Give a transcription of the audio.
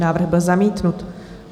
Návrh byl zamítnut.